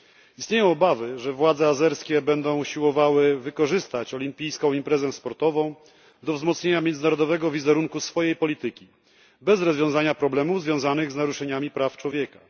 Istnieją obawy, że władze azerskie będą usiłowały wykorzystać olimpijską imprezę sportową do wzmocnienia międzynarodowego wizerunku swojej polityki bez rozwiązania problemów związanych z naruszeniami praw człowieka.